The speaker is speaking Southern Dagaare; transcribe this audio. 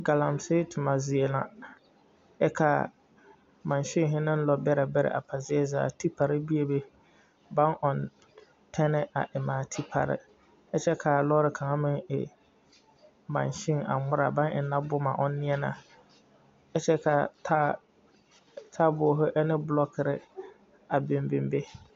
Galamsey toma zie la, nyɛ ka mansemɛ ane lɔɔ beɛre beɛre a pa zie zaa ka tipare bebe baŋ ɔŋɛ tanne a eŋɛ a tipare kyɛ ka lɔɔre kaŋa. meŋ e manse aŋ ŋmara baŋ eŋ boma ʋŋ ŋmara kyɛ ka tabolɔ an bloɔkiri a biŋ biŋ be